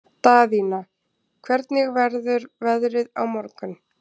Daðína, hvernig verður veðrið á morgun?